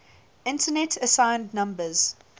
internet assigned numbers